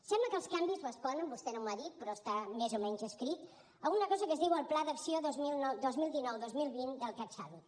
sembla que els canvis responen vostè no m’ho ha dit però està més o menys escrit a una cosa que es diu el pla d’acció dos mil dinou dos mil vint del catsalut